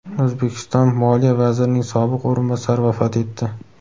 O‘zbekiston moliya vazirining sobiq o‘rinbosari vafot etdi.